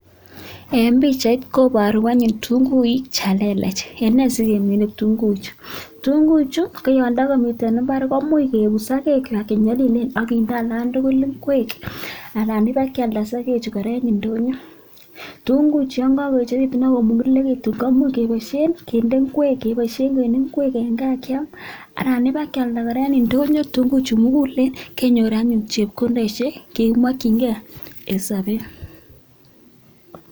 En pichait koboru anyun ketunguik chan lelach, en nee sikemin kitunguichu. Kitunguichu, koyon tokomi mbar koimuch kebut sogek kwak che nyolilen ak kinde alan tugul ngwek anan ibakealda sogechu kora en ndonyo. Kitunguichu yon kogoechegitu ak komugulegitun komuch keboishen en ngwek en gaa kyam anan ibakyalda kora en ndonyo kitunguichu mugulen kenyor anyun chepkondoishek che kimokinge en sobet.